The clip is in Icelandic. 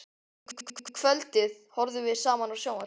Um kvöldið horfðum við saman á sjónvarpið.